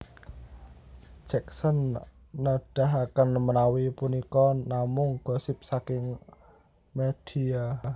Jacksen nedahaken menawi punika namung gosip saking medhia